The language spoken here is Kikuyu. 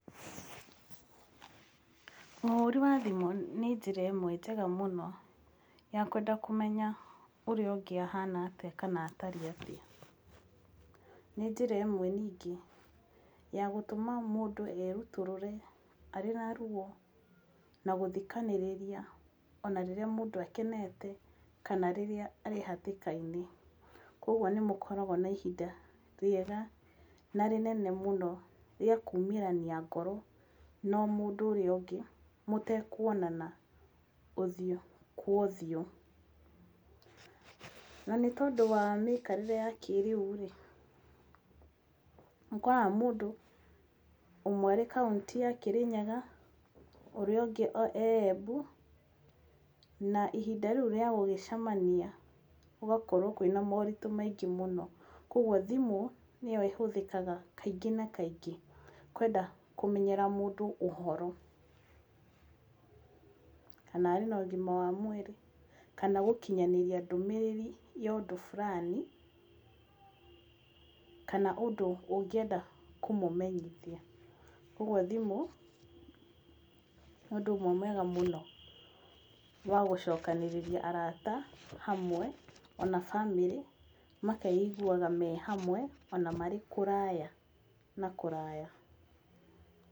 Ũhũri wa thimũ nĩ njĩra ĩmwe njega mũno ya kwenda kũmenya ũrĩa ũngĩ ahana atĩa kana atariĩ atĩa. Nĩ njĩra ĩmwe ningĩ ya gũtũma mũndũ erutũrũre arĩ na ruo, na gũthikanĩrĩria ona rĩrĩa mũndũ akenete kana rĩrĩa arĩ hatĩka-inĩ. Koguo nĩ mũkoragwo na ihinda rĩega na rĩnene mũno rĩa kuumĩrania ngoro na mũndũ ũrĩa ũngĩ mũtekuonana ũthiũ kwa ũthiũ. Na nĩ tondũ wa mĩikarĩre ya kĩĩrĩu rĩ, nĩ ũkoraga mũndũ ũmwe arĩ kaũntĩ ya Kirinyaga, ũrĩa ũngĩ ee Embu na ihinda rĩu rĩa gũgĩcemania gũgakorwo kwĩna moritũ maingĩ mũno. Koguo thimũ nĩyo ĩhũthĩkaga kaingĩ na kaingĩ kwenda kũmenyera mũndũ ũhoro. Kana arĩ na ũgima wa mwĩrĩ, kana gũkinyanĩria ndũmĩrĩri ya ũndũ fulani kana ũndũ ũngĩenda kũmũmenyithia. Koguo thimũ nĩ ũndũ ũmwe mwega mũno wa gũcokanĩrĩria arata ona bamĩrĩ, makeiguaga me hamwe ona marĩ kũraya na kũraya.